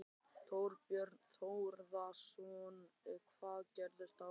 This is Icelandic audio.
Þorbjörn Þórðarson: Hvað gerist þá?